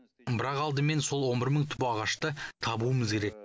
бірақ алдымен сол он бір мың түп ағашты табуымыз керек